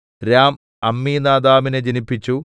രാം അമ്മീനാദാബിനെ ജനിപ്പിച്ചു